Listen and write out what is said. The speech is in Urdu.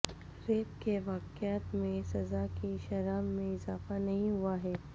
ریپ کے واقعات میں سزا کی شرح میں اضافہ نہیں ہوا ہے